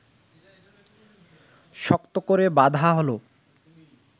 শক্ত করে বাঁধা হলো